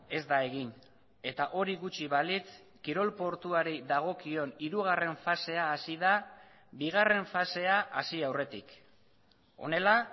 ez da egin eta hori gutxi balitz kirol portuari dagokion hirugarren fasea hasi da bigarren fasea hasi aurretik honela